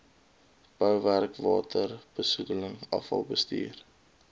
bouwerk waterbesoedeling afvalbestuur